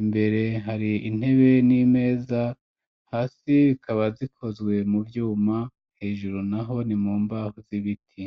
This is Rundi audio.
imbere hari intebe n'imeza hasi bikaba zikozwe mu vyuma hejuru naho nimumbaho z'ibiti.